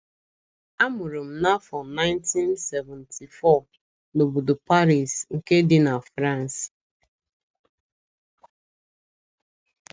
Amụrụ m n'afọ 1974 n'obodo Paris, nke dị na Frans.